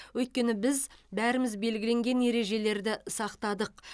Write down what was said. өйткені біз бәріміз белгіленген ережелерді сақтадық